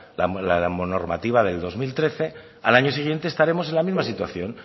la normativa del dos mil trece al año siguiente estaremos en la misma situación